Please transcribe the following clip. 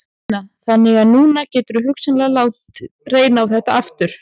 Una: Þannig að núna geturðu hugsanlega látið reyna á þetta aftur?